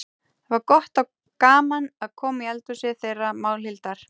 Það var gott og gaman að koma í eldhúsið þeirra Málhildar.